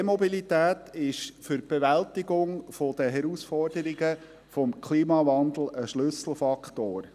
Die E-Mobilität ist für die Bewältigung der Herausforderungen des Klimawandels ein Schlüsselfaktor.